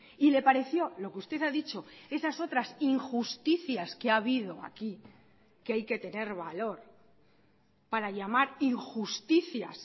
y le pareció lo que usted ha dicho esas otras injusticias que ha habido aquí que hay que tener valor para llamar injusticias